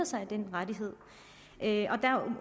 sig af den rettighed